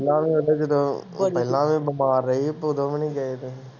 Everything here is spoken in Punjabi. ਪਹਿਲਾਂ ਵੀ ਉਹਦੇ ਜਦੋਂ ਪਹਿਲਾਂ ਵੀ ਬਿਮਾਰ ਰਹੀ ਉਦੋਂ ਵੀ ਨੀ ਗਏ ਤੁਸੀਂ।